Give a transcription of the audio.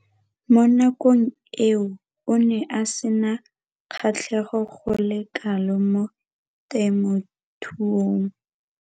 Mo nakong eo o ne a sena kgatlhego go le kalo mo temothuong.